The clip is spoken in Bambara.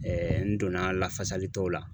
n donna lafasalitɔ la.